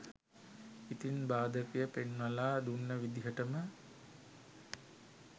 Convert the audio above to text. ඉතින් බාධකය පෙන්වලා දුන්න විදිහටම